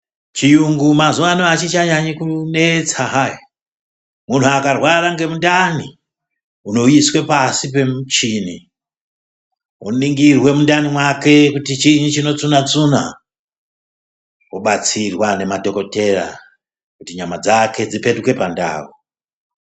Chiyungu mazuwa anaya achichanyanyi kunetsa zviyani muntu akarwara ngemundanì unoiswe pasi pemuchini woningirwe undani make kuti chiini chinotsuna tsuna wobatsirwa ngemadhokoteya kuti nyama dzake dzipetuke pandau.